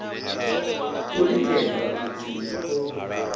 khou lingedza u tinya khombo